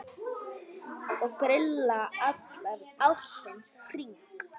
Ég grilla allan ársins hring.